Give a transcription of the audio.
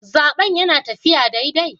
Zaben yana taffiya daidai?